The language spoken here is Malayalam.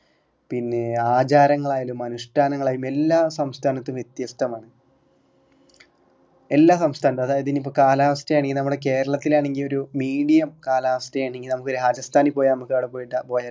പിന്നെ ആചാരങ്ങളായാലും അനുഷ്ടാനങ്ങളായാലും എല്ലാ സംസ്ഥാനത്തും വ്യത്യസ്തമാണ് എല്ലാ സംസ്ഥാനത്തും അതായതു ഇനിയിപ്പോ കാലാവസ്ഥ ആണെങ്കിൽ നമ്മുടെ കേരളത്തിൽ ആണെങ്കിൽ ഒരു medium കാലാവസ്ഥ ആണെങ്കിൽ നമുക്ക് രാജസ്ഥാനിൽ പോയ നമ്മക്ക് അവിടെ പോയിട്ട് പോയാൽ